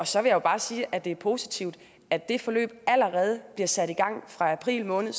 så vil jeg bare sige at det er positivt at det forløb allerede bliver sat i gang april måned